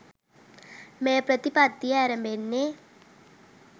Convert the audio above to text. මේ ප්‍රතිපත්තිය ඇරැඹෙන්නේ